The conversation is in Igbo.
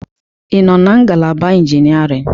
Ị nọ na ngalaba Engineering?